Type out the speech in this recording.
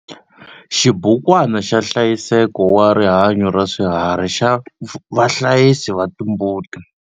Xibukwana xa nhlayiseko wa rihanyo ra swiharhi xa vahlayisi va timbuti.